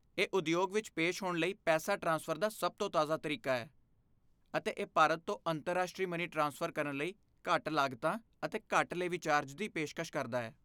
ਇਹ ਉਦਯੋਗ ਵਿੱਚ ਪੇਸ਼ ਹੋਣ ਲਈ ਪੈਸਾ ਟ੍ਰਾਂਸਫਰ ਦਾ ਸਭ ਤੋਂ ਤਾਜ਼ਾ ਤਰੀਕਾ ਹੈ, ਅਤੇ ਇਹ ਭਾਰਤ ਤੋਂ ਅੰਤਰਰਾਸ਼ਟਰੀ ਮਨੀ ਟ੍ਰਾਂਸਫਰ ਕਰਨ ਲਈ ਘੱਟ ਲਾਗਤਾਂ ਅਤੇ ਘੱਟ ਲੇਵੀ ਚਾਰਜ ਦੀ ਪੇਸ਼ਕਸ਼ ਕਰਦਾ ਹੈ।